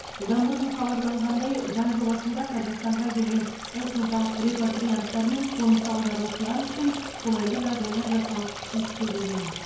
бұдан бұрын хабарланғандай заң жобасында қазақстанға келген этникалық репатрианттар мен қоныс аударушылар үшін қолайлы жағдайлар жасау ескерілген